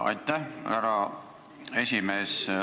Aitäh, härra esimees!